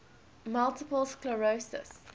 multiple sclerosis